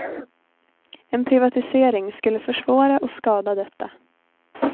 En privatisering skulle försvåra och skada detta.